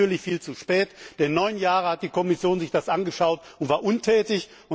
Die kam natürlich viel zu spät, denn neun Jahre hat sich die Kommission das angeschaut und war untätig.